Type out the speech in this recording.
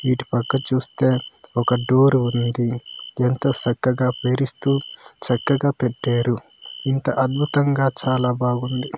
ఇటుపక్క చూస్తే ఒక డోరు ఉంది ఎంతో సక్కగా పేరిస్తూ చక్కగా పెట్టారు ఇంత అద్భుతంగా చాలా బాగుంది.